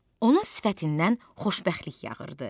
Onun sifətindən xoşbəxtlik yağırdı.